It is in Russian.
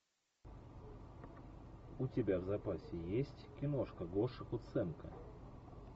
у тебя в запасе есть киношка гоша куценко